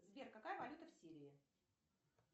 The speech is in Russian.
сбер какая валюта в сирии